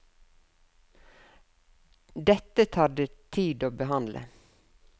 Dette tar det tid å behandle.